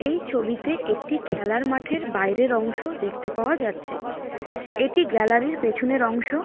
এই ছবিতে একটি খেলার মাঠের বাইরের অংশ দেখতে পাওয়া যাচ্ছে। এটি গ্যালারি -র পেছনের অংশ।